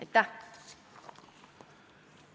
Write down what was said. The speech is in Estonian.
Aitäh!